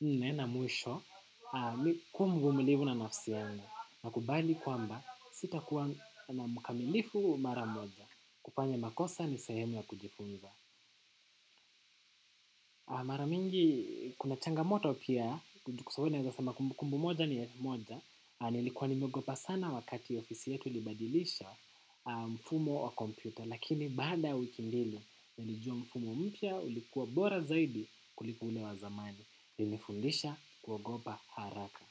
nne na mwisho kua mvumilivu na nafsi yangu nakubali kwamba sitakuwa na mkamilifu mara moja kufanya makosa ni sehemu ya kujifunza. Mara mingi kuna changamoto pia kwa sababu naweza sema kumbu kumbu moja ni elfu moja, nilikuwa nimeogopa sana wakati ofisi yetu ilibadilisha mfumo wa kompyuta lakini baada wiki mbili nilijua mfumo mpya ulikuwa bora zaidi kuliko ule wa zamani. Ulinifundisha kuogopa haraka.